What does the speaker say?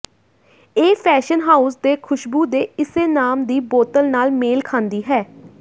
ਇਹ fashion house ਦੇ ਖੁਸ਼ਬੂ ਦੇ ਇਸੇ ਨਾਮ ਦੀ ਬੋਤਲ ਨਾਲ ਮੇਲ ਖਾਂਦੀ ਹੈ